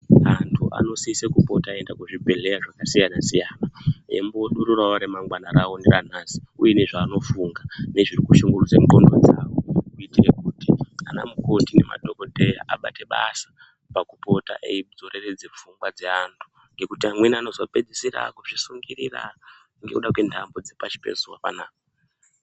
Antu anosise kupota eienda kuzvibhedhlera zvakasiyana-siyana eimbodururawo remangwana rawo neranhasi uye nezvaanofunga nezviri kushungurudze ndxondo dzawo kuitire kuti anamukoti nemadhogodheya abate basa pakupota eidzoreredze pfungwa dzeantu ngekuti amweni anozopedzisira akuzvisungirira ngekuda kwentamo dzepashi pezuwa panapa.